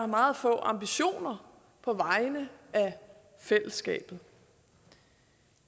meget få ambitioner på vegne af fællesskabet